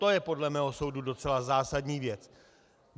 To je podle mého soudu docela zásadní věc.